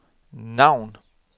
navn